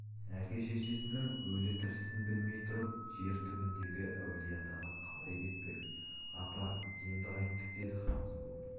әке-шешесінің өлі-тірісін білмей тұрып жер түбіндегі әулиеатаға қалай кетпек апа енді қайттік деді хансұлу